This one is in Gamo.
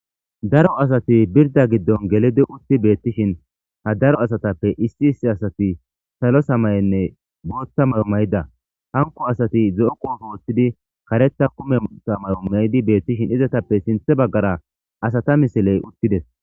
Daro asati birda giddon gelidi utti beettishin ha daro asatappe issi issi asati salo samayenne bootta mawomayida hanko asati ze'o qoofo woththidi kareta kume ta maumaydi beettishin izatappe sinthe baggara asata misiley uttides.